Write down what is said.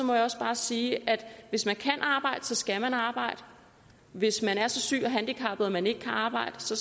må jeg også bare sige at hvis man kan arbejde skal man arbejde hvis man er så syg og handicappet at man ikke kan arbejde